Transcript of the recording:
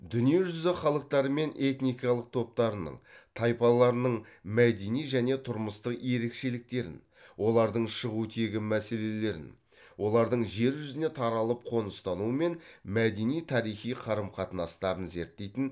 дүние жүзі халықтары мен этникалық топтарының тайпаларының мәдени және тұрмыстық ерекшеліктерін олардың шығу тегі мәселелерін олардың жер жүзіне таралып қоныстануы мен мәдени тарихи қарым қатынастарын зерттейтін